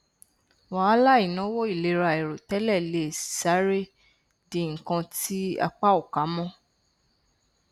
wàhálà ìnáwó ìlera àìròtẹlẹ le sáré di nnkan tí apá ò ká mọ